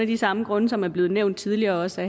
de samme grunde som er blevet nævnt tidligere også